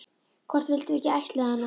Hvort við vildum ekki ættleiða hana?